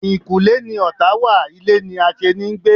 Eyinkule ni ọ̀tá wa, ilé ni aseni ń gbé